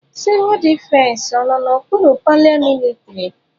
Civul defesi ọ nọ n'okpuru paramilitrị?